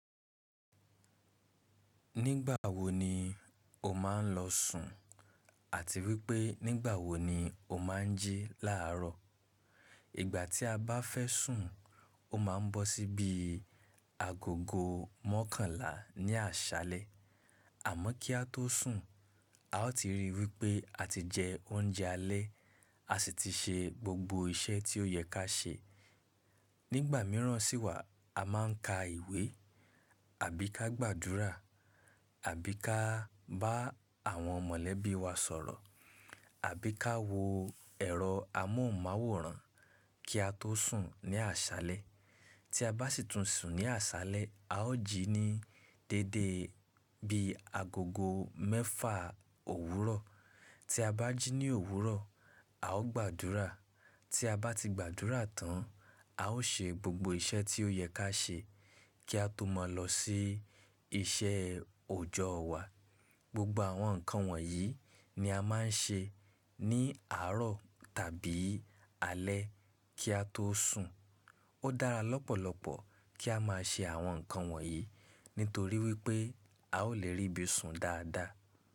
Nígbà wo ni o máa ń lọ sùn àti wípé nígbà wo ni o máa ń jí láààrọ̀? Ìgbà tí a bá fẹ́ sùn, ó máa ń bọ́ síbi agogo mọ́kànlá ní àṣálẹ́. Àmọ́ kí a tó sùn, a ó ti ríi wípé a ti jẹ oúnjẹ alẹ́, a sì ti ṣe gbogbo iṣẹ́ tí ó yẹ ká ṣe. Nígbà mìíràn sì wà a máa ń ka ìwé àbí ká gbàdúrà àbí ká bá àwọn mọ̀lẹ́bí wa sọ̀rọ̀ àbí ká wo ẹ̀rọ amóhùnmáwòrán kí a tó sùn ní àṣálẹ́. Tí a bá sì tún sùn ní àṣálẹ́, a ó jí ní déédé bí agogo mẹ́fà òwúrọ̀. Tí a bá jí ní òwúrọ̀, a ó gbàdúrà. Tí a bá ti gbàdúrà tán, a ó ṣe gbogbo iṣẹ́ tí ó yẹ ká ṣe kí a tó mọ̀ lọ sí iṣẹ́ òjọ́ wa. Gbogbo àwọn nǹkan wọ̀nyí ni a máa ń ṣe ní àárọ̀ tàbí alẹ́ kí a tó sùn. Ó dára lọ́pọ̀lọpọ̀ kí a máa ṣe àwọn nǹkan wọ̀nyí torí wípé a ó lè rí ibi sùn dáadáa.